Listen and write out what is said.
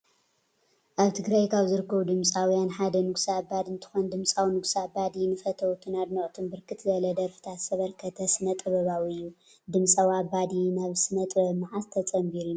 አብ ትግራይ ካብ ዝርከቡ ድምፂውያን ሓደ ንጉስ አባዲ እንትኮን ድምፂዊ ንጉሰ አባዲ ንፈተውቱን አድነቅቱን ብርክት ዝበለ ደርፈታት ዘበርከተ ስነ ጥበባዊ እዩ። ድምፂዊ አባዲ ናብ ስነጥበብ መዓዝ ተፀቢሩ ይመስለኩም?